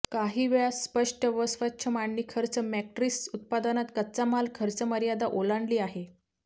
काही वेळा स्पष्ट व स्वच्छ मांडणी खर्च मॅट्रिक्स उत्पादनात कच्चा माल खर्च मर्यादा ओलांडली आहे